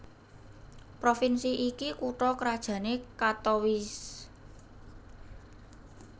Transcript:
Provinsi iki kutha krajané Katowice